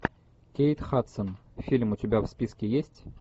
кейт хадсон фильм у тебя в списке есть